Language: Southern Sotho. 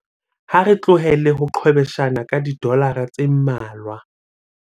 ha re tlohele ho qhwebeshana ka didolara tse mmalwa